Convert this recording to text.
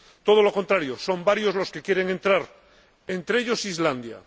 todo lo contrario, son varios los que quieren entrar, entre ellos Islandia.